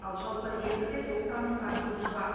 ал жалпы реестрде тоқсан мың қатысушы бар